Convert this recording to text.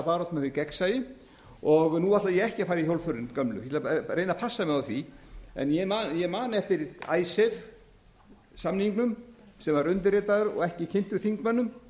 baráttumann fyrir gegnsæi nú ætla ég ekki að fara í hjólförin gömlu ég ætla að reyna að passa mig á því en ég man eftir icesave samningnum sem var undirritaður og ekki kynntur þingmönnum